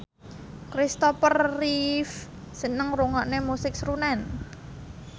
Christopher Reeve seneng ngrungokne musik srunen